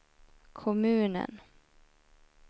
kommunen